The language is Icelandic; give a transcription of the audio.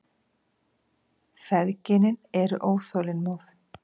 Feðginin eru óþolinmóð.